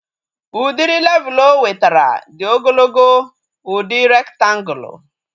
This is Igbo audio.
Udiri levul o wetara dị ogologo udi rektangulu